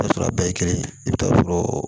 I bi t'a sɔrɔ a bɛɛ ye kelen i bi t'a sɔrɔ